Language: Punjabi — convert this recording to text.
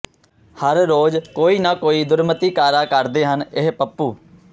ਹਰ ਰੋਜ਼ ਕੋਈ ਨਾ ਕੋਈ ਦੁਰਮਤੀ ਕਾਰਾ ਕਰਦੇ ਹਨ ਇਹ ਪੱਪੂ